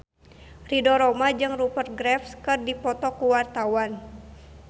Ridho Roma jeung Rupert Graves keur dipoto ku wartawan